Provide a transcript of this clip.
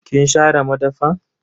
Kin share madafan?